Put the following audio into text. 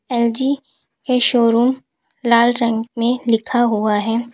LG के showroom लाल रंग में लिखा हुआ है।